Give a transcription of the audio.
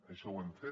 això ho hem fet